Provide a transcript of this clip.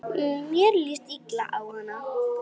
Mér líst illa á hana.